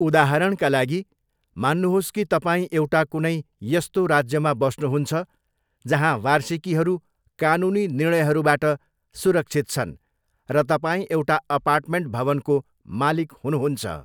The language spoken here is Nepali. उदाहरणका लागि, मान्नुहोस् कि तपाईँ एउटा कुनै यस्तो राज्यमा बस्नुहुन्छ जहाँ वार्षिकीहरू कानुनी निर्णयहरूबाट सुरक्षित छन् र तपाईँ एउटा अपार्टमेन्ट भवनको मालिक हुनुहुन्छ।